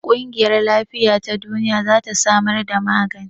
ƙungiyar Lafiya ta Duniya za ta samar da magani.